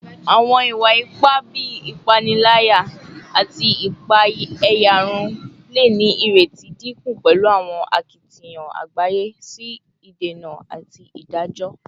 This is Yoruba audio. Awọn iwa-ipa bii ipanilaya ati ipaeyarun le ni ireti dinku pẹlu awọn akitiyan agbaye si idena ati idajọ